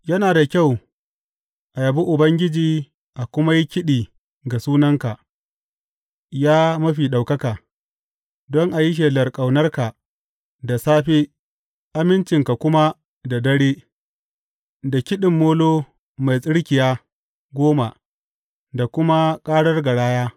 Yana da kyau a yabi Ubangiji a kuma yi kiɗi ga sunanka, ya Mafi Ɗaukaka, don a yi shelar ƙaunarka da safe amincinka kuma da dare, da kiɗin molo mai tsirkiya goma da kuma ƙarar garaya.